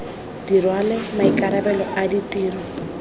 di rwale maikarabelo a ditiro